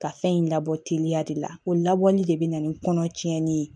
Ka fɛn in labɔ teliya de la o labɔli de bɛ na ni kɔnɔ cɛnni ye